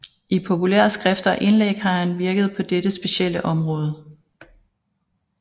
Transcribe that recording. I populære skrifter og indlæg har han virket på dette sit specielle område